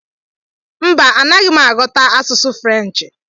Mba anaghị m aghọta asụsụ Frenchị.